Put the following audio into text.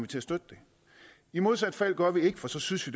til at støtte det i modsat fald gør vi ikke for så synes vi